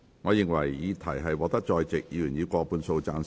我認為議題獲得在席議員以過半數贊成。